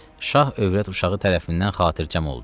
Şah övrət uşağı tərəfindən xatirçəm oldu.